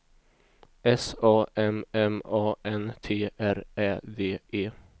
S A M M A N T R Ä D E